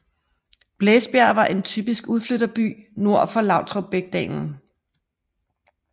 Blæsbjerg var en typisk udflytterby nord for Lautrupsbækdalen